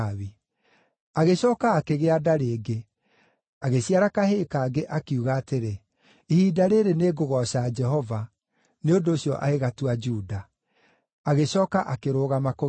Agĩcooka akĩgĩa nda rĩngĩ, agĩciara kahĩĩ kangĩ, akiuga atĩrĩ, “Ihinda rĩĩrĩ nĩ ngũgooca Jehova.” Nĩ ũndũ ũcio agĩgatua Juda. Agĩcooka akĩrũgama kũgĩa ciana.